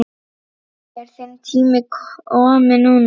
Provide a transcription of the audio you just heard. Er þinn tími kominn núna?